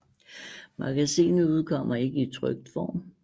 Magasinet udkommer ikke i trykt form